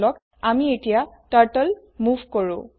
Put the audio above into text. বলক আমি এতিয়া Turtleমোভ কৰোঁ